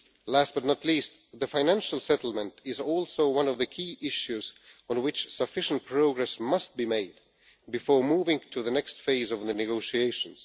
Last but not least, the financial settlement is also one of the key issues on which sufficient progress must be made before moving to the next phase of the negotiations.